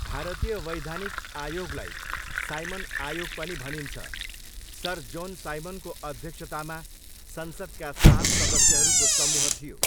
भारतीय वैधानिक आयोगलाई साइमन आयोग पनि भनिन्छ, सर जोन साइमनको अध्यक्षतामा संसदका सात सदस्यहरूको समूह थियो।